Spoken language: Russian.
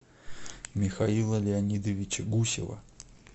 михаила леонидовича гусева